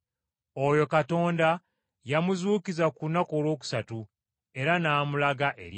Oyo Katonda yamuzuukiza ku lunaku olwokusatu era n’amulaga eri abantu.